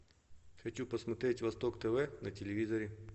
хочу посмотреть восток тв на телевизоре